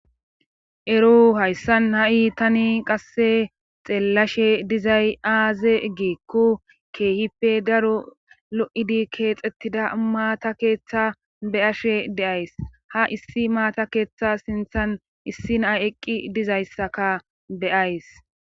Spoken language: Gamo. ero hayssan ha7i tani qasse xeellashe dizay aaze giekku keehipe daro lo7idi keexxettida maata keeththa be'ashe de'ays ha issi maata keeththa sinthan issi na'ay eqqi dizayssaka beyays